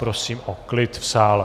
Prosím o klid v sále.